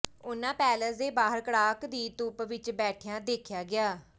ਉਹਨਾਂ ਪੈਲਸ ਦੇ ਬਾਹਰ ਕੜਾਕ ਦੀ ਧੁੱਪ ਵਿੱਚ ਬੈਠਿਆਂ ਦੇਖਿਆ ਗਿਆ